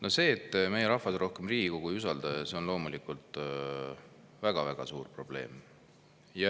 No see, et meie rahvas rohkem Riigikogu ei usalda, on loomulikult väga-väga suur probleem.